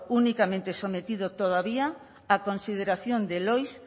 únicamente sometido todavía a consideración del oiss